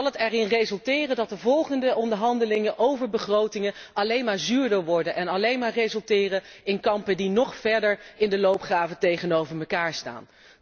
Dan zal het erin resulteren dat de volgende onderhandelingen over begrotingen alleen maar zuurder worden en alleen maar resulteren in kampen die in de loopgraven nog verder van elkaar staan.